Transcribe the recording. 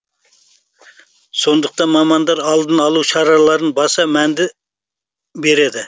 сондықтан мамандар алдын алу шараларына баса мәнді береді